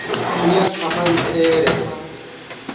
u ya kha maitele a